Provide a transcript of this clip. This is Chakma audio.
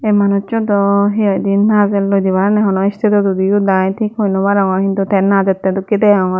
manujso daw hi hoidey najelloidi parapange hono istedot udi udai tik hoi barongor hintu tey najettey dokkey deongor mui.